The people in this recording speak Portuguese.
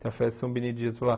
Tem a festa de São Benedito lá.